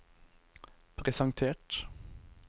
presentert